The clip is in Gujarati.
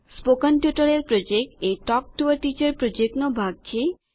સ્પોકન ટ્યુટોરીયલ પ્રોજેક્ટ એ ટોક ટુ અ ટીચર પ્રોજેક્ટનો ભાગ છે